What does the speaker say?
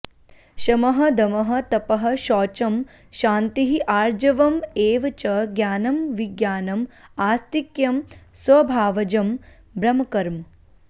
शमः दमः तपः शौचं क्षान्तिः आर्जवम् एव च ज्ञानं विज्ञानम् आस्तिक्यं स्वभावजं ब्रह्मकर्म